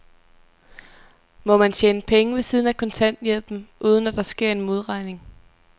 Må man tjene penge ved siden af kontanthjælpen, uden at der sker en modregning?